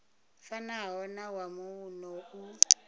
fanaho na wa muno u